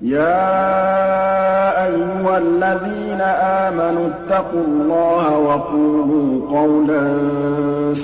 يَا أَيُّهَا الَّذِينَ آمَنُوا اتَّقُوا اللَّهَ وَقُولُوا قَوْلًا